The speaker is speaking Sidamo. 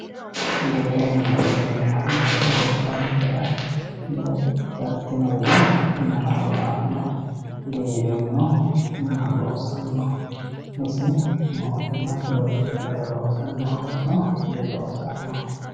giwirinna yineemmohu gobbankera loosidhe galtinorira mayi horo aannoho? giwirinnu mama loosanno isi mama loosannoho mootimmate uurrinshara loosanohonso diloosannoho?